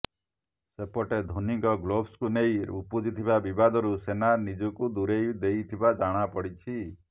ସେପଟେ ଧୋନୀଙ୍କ ଗ୍ଲୋବସ୍ କୁ ନେଇ ଉପୁଜିଥିବା ବିବାଦରୁ ସେନା ନିଜକୁ ଦୂରେଇ ଦେଇଥିବା ଜଣାପଡିଛି